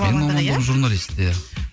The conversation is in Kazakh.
менің мамандығым журналист иә